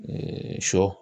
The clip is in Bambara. sɔ